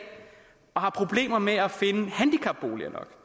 og har problemer med at finde handicapboliger nok